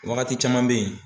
Wagati caman bɛ ye